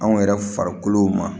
Anw yɛrɛ farikolo ma